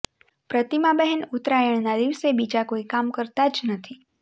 પ્રતિમાબહેન ઉતરાણના દિવસે બીજાં કોઈ કામ કરતાં જ નથી